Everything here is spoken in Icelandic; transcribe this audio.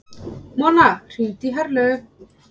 Mona, hringdu í Herlaugu.